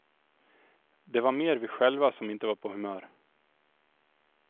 Det var mer vi själva som inte var på humör.